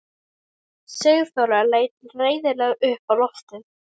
Sigþóra leit reiðilega upp á loftið.